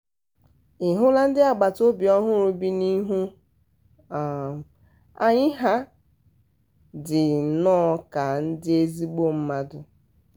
ị hụla ndị agbataobi ọhụrụ bị n'ihu um anyị ha dị nnọọ ka ndị ezigbo mmadụ um